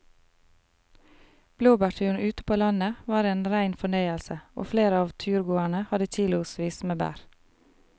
Blåbærturen ute på landet var en rein fornøyelse og flere av turgåerene hadde kilosvis med bær.